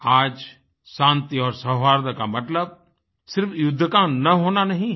आज शान्ति और सौहार्द का मतलब सिर्फ युद्ध का न होना नहीं है